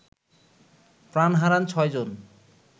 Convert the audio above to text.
প্রাণ হারান ৬ জন